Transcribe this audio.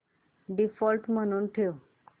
default म्हणून ठेव